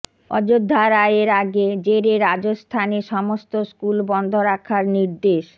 অযোধ্যা রায়ের আগে জেরে রাজস্থানে সমস্ত স্কুল বন্ধ রাখার নির্দেশ